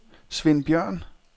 Sven Bjørn